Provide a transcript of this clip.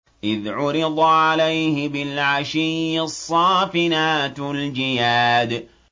إِذْ عُرِضَ عَلَيْهِ بِالْعَشِيِّ الصَّافِنَاتُ الْجِيَادُ